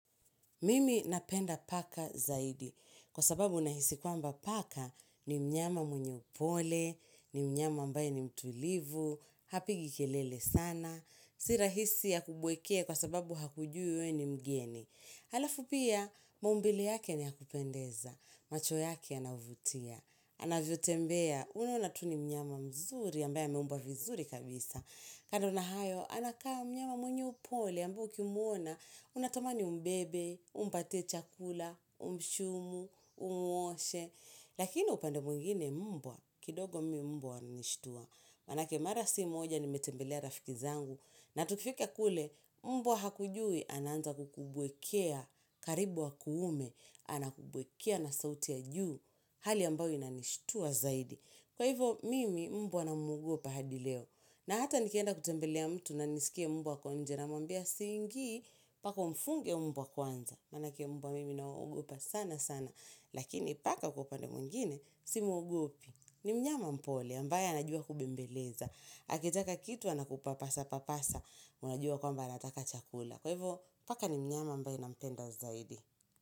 Mimi napenda paka zaidi, kwa sababu nahisi kwamba paka ni mnyama mwenye upole, ni mnyama ambaye ni mtulivu, hapigi kelele sana, si rahisi akubwekee kwa sababu hakujui we ni mgeni. Halafu pia, maumbile yake ni yakupendeza, macho yake yanavutia, anavyotembea, unaona tu ni mnyama mzuri, ambaye ameumbwa vizuri kabisa. Kando na hayo, anakaa mnyama mwenye upole, ambaye ukimwona, unatamani umbebe, umpatie chakula, umshumu, umuoshe. Lakini upande mwingine mbwa, kidogo mi mbwa wanishtua. Manake mara si moja nimetembelea rafiki zangu na tukifika kule mbwa hakujui anaanza kukubwekea karibu wa akuume, anakubwekea na sauti ya juu hali ambayo inanishtua zaidi. Kwa hivyo mimi mbwa na mwogopa hadi leo na hata nikienda kutembelea mtu na nisikie mbwa ako nje namwambia siingii paka umfunge mbwa kwanza. Manake mbwa mimi na waogopa sana sana. Lakini paka kupande mwingine simwogopi. Ni mnyama mpole ambaye anajua kubembeleza akitaka kitu anakupa pasa papasa unajua kwamba anataka chakula. Kwa hivyo paka ni mnyama ambaye nampenda zaidi.